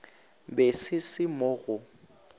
be se se mo go